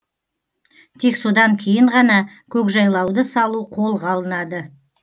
тек содан кейін ғана көкжайлауды салу қолға алынады